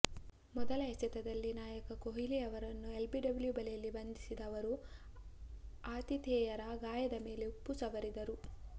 ಮೊದಲ ಎಸೆತದಲ್ಲಿ ನಾಯಕ ಕೊಹ್ಲಿ ಅವರನ್ನು ಎಲ್ಬಿಡಬ್ಲ್ಯು ಬಲೆಯಲ್ಲಿ ಬಂದಿಸಿದ ಅವರು ಆತಿಥೇಯರ ಗಾಯದ ಮೇಲೆ ಉಪ್ಪು ಸವರಿದರು